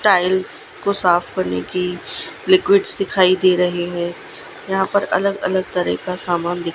tiles को साफ करने की लिक्विड्स दिखाई दे रहे हैं यहां पर अलग अलग तरह का सामान दिख--